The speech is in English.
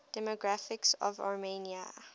demographics of armenia